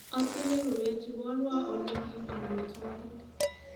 Atinye rubet iborwo olikiib amitwogik